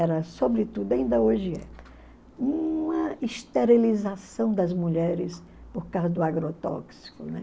Era sobretudo, ainda hoje é, uma esterilização das mulheres por causa do agrotóxico.